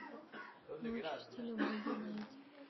ночь в стиле буги найди